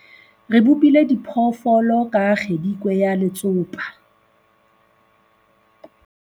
re bopile diphoofolo ka kgedikwe ya letsopa